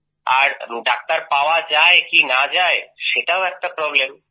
আর doctor পাওয়া যায় কি না পাওয়া যায় সেটাও একটা প্রব্লেম